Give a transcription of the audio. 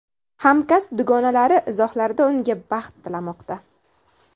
Hamkasb dugonalari izohlarda unga baxt tilamoqda.